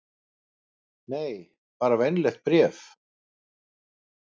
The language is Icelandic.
Nei, bara venjulegt bréf.